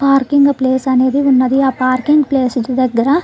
Parking place అనేది ఉన్నది. ఆ పార్కింగ్ ప్లేస్ దగ్గర --